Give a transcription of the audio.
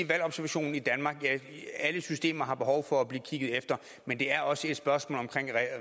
valgobservationen i danmark at alle systemer har behov for at blive kigget efter men det er også et spørgsmål om